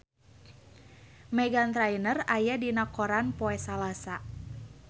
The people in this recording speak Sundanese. Meghan Trainor aya dina koran poe Salasa